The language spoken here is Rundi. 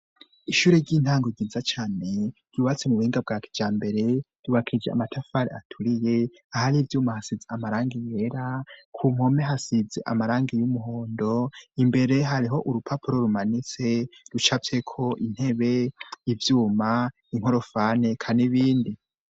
Ishure ry'intango ryiza cyane ryububatse mu buhinga bwak bya mbere ribakije amatafari aturiye ahari ibyuma hasitze amarangi inyera ku nkome hasitse amarangi y'umuhondo imbere hariho urupapuro rumanitse rucapse ko intebe ibyuma inkorofane kanibindi.